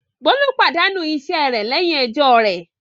Bólú pàdánù iṣẹ́ rẹ̀ lẹ́yìn ẹjọ́ rẹ̀.